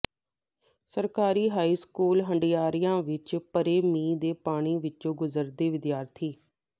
ਸਰਕਾਰੀ high school Handiaya ਵਿੱਚ ਭਰੇ ਮੀਂਹ ਦੇ ਪਾਣੀ ਵਿੱਚੋਂ ਗੁਜ਼ਰਦੇ ਹੋਏ ਵਿਦਿਆਰਥੀ